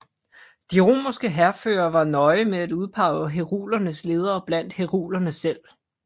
De romerske hærførere var nøje med at udpege herulernes ledere blandt herulerne selv